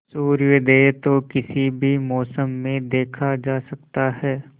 सूर्योदय तो किसी भी मौसम में देखा जा सकता है